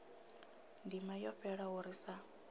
ndima yo fhelaho ri sa